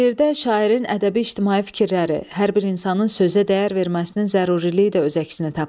Şeirdə şairin ədəbi ictimai fikirləri, hər bir insanın sözə dəyər verməsinin zəruriliyi də öz əksini tapıb.